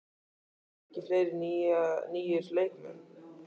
Koma ekki fleiri nýir leikmenn?